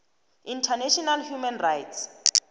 international human rights